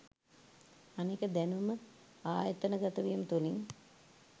අනෙක දැනුම ආයතන ගත වීම තුලින්